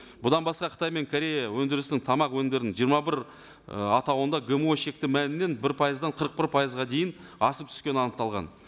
бұдан басқа қытай мен корея өндірісінің тамақ өнімдерінің жиырма бір ы атауында гмо шекті мәлімнен бір пайыздан қырық бір пайызға дейін асып түскені анықталған